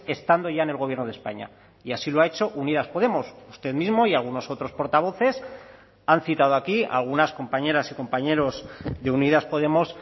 estando ya en el gobierno de españa y así lo ha hecho unidas podemos usted mismo y algunos otros portavoces han citado aquí algunas compañeras y compañeros de unidas podemos